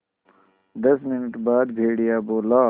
दस मिनट बाद भेड़िया बोला